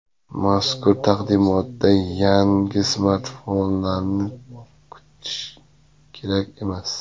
Mazkur taqdimotdan yangi smartfonlarni kutish kerak emas.